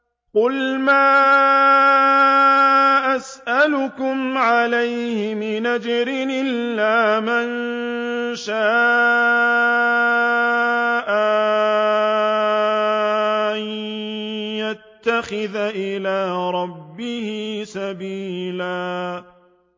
قُلْ مَا أَسْأَلُكُمْ عَلَيْهِ مِنْ أَجْرٍ إِلَّا مَن شَاءَ أَن يَتَّخِذَ إِلَىٰ رَبِّهِ سَبِيلًا